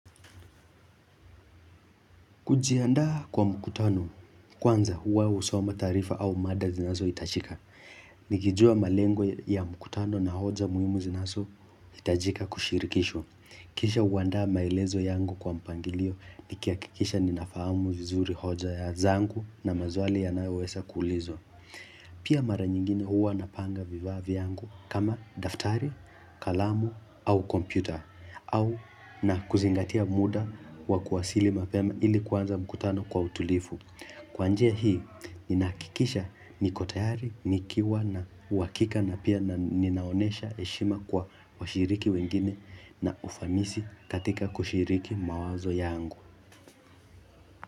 Kujianda kwa mkutano, kwanza huwa usoma tarifa au mada zinazo itachika. Nikijua malengo ya mkutano na hoja muhimu zinazo itajika kushirikisho. Kisha uanda maelezo yangu kwa mpangilio, nikia kikisha ninafamu vizuri hoja ya zangu na mazuali yanayo wesa kuulizwa. Pia mara nyingine huwa napanga viva vyangu kama daftari, kalamu au kompyuta. Au na kuzingatia muda wa kuwasili mapema ili kwanza mkutano kwa utulifu. Kwanje hii, ninahakikisha niko tayari, nikiwa na uakika na pia na ninaonesha heshima kwa washiriki wengine na ufamisi katika kushiriki mawazo yangu.